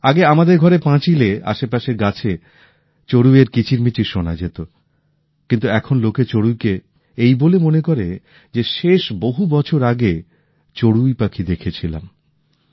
আগে আমাদের ঘরের পাঁচিলে আশেপাশের গাছে চড়ুইয়ের কিচির মিচির শোনা যেত কিন্তু এখন লোকে চড়ুইকে এই বলে মনে করে যে শেষ বহু বছর আগে চড়ুই পাখি দেখেছিলাম